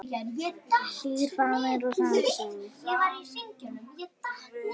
Hlýr faðmur og sannar sögur.